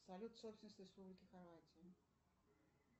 салют собственность республики хорватия